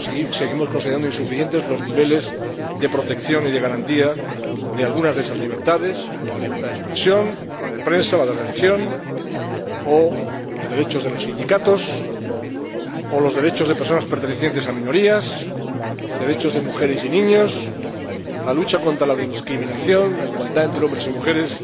Seguimos considerando insuficientes los niveles de protección y de garantía de alguna de esas libertades, como la libertad de expresión, la de prensa, la de religión, o los derechos de los sindicatos, los derechos de personas pertenecientes a minorías, derechos de mujeres y niños, la lucha contra la discriminación y la igualdad entre hombres y mujeres.